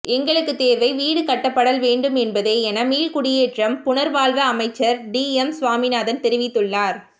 எங்களுக்குத் தேவை வீடு கட்டப்படல் வேண்டும் என்பதே என மீள்குடியேற்றம் புனர்வாழ்வு அமைச்சர் டிஎம் சுவாமிநாதன் தெரிவித்துள்ளார்